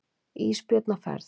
Ísbjörn á ferð.